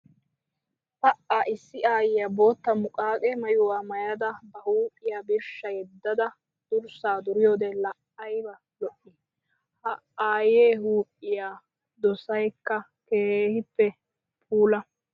Pa! Issi aayiya bootta muqaqe maayuwa maayada ba huuphiya birshsha yedadda durssa duriyoode laa aybba lo'i! Ha aaye huuphiya doosaykka keehippe puula.